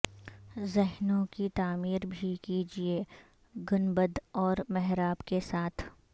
ذہنوں کی تعمیر بھی کیجئے گنبد اور محراب کے ساتھ